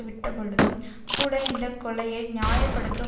விட்ட பொழுதும் கூட இந்த கொலையை நியாய படுத்தும்